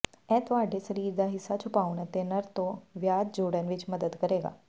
ਇਹ ਤੁਹਾਡੇ ਸਰੀਰ ਦਾ ਹਿੱਸਾ ਛੁਪਾਉਣ ਅਤੇ ਨਰ ਤੋਂ ਵਿਆਜ ਜੋੜਨ ਵਿੱਚ ਮਦਦ ਕਰੇਗਾ